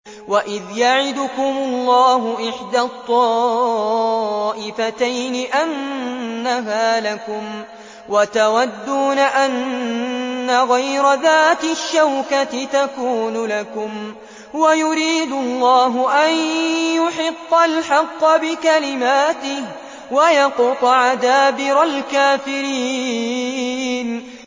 وَإِذْ يَعِدُكُمُ اللَّهُ إِحْدَى الطَّائِفَتَيْنِ أَنَّهَا لَكُمْ وَتَوَدُّونَ أَنَّ غَيْرَ ذَاتِ الشَّوْكَةِ تَكُونُ لَكُمْ وَيُرِيدُ اللَّهُ أَن يُحِقَّ الْحَقَّ بِكَلِمَاتِهِ وَيَقْطَعَ دَابِرَ الْكَافِرِينَ